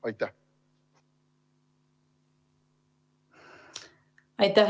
Aitäh!